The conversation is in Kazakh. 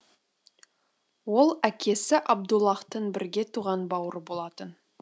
ол әкесі абдуллаһтың бірге туған бауыры болатын